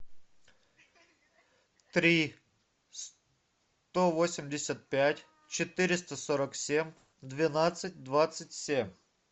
три сто восемьдесят пять четыреста сорок семь двенадцать двадцать семь